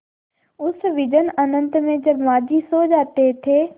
उस विजन अनंत में जब माँझी सो जाते थे